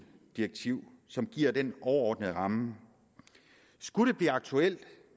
direktiv som giver den overordnede ramme skulle det blive aktuelt